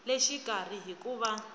le xikarhi hi ku va